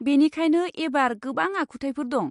बेनिखायनो एबार गोबां आखुथायफोर दं।